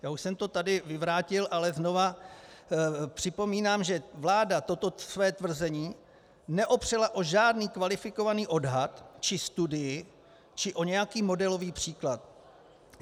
Já už jsem to tady vyvrátil, ale znova připomínám, že vláda toto své tvrzení neopřela o žádný kvalifikovaný odhad či studii či o nějaký modelový příklad.